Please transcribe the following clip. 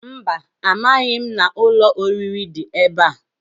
Mba, amaghị m na ụlọ oriri dị ebe a.